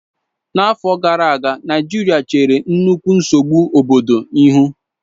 n'afo gara aga, naijiria chere nnukwu nsogbu obodo ihu